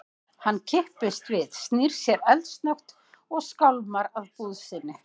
Hann kippist við, snýr sér eldsnöggt og skálmar að búð sinni.